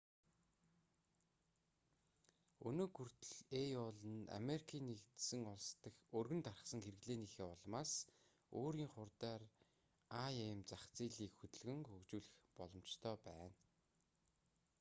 өнөөг хүртэл aol нь америкийн нэгдсэн улс дахь өргөн тархсан хэрэглээнийхээ улмаас өөрийн хурдаар im зах зээлийг хөдөлгөн хөгжүүлэх боломжтой байна